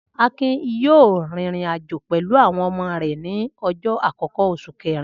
Akin yóò rìnrìn-àjò pẹ̀lú àwọn ọmọ rẹ̀ ní ọjọ́ àkọ́kọ́ oṣù kẹ̀rin.